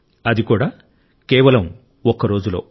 అది కూడా కేవలం ఒక్క రోజులో